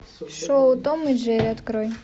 шоу том и джерри открой